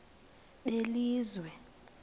belizwe